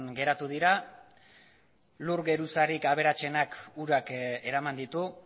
geratu dira lur geruzarik aberatsenak urak eraman ditu